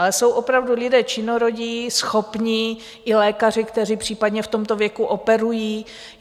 Ale jsou opravdu lidé činorodí, schopní, i lékaři, kteří případně v tomto věku operují.